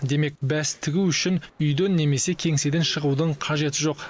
демек бәс тігу үшін үйден немесе кеңседен шығудын қажеті жоқ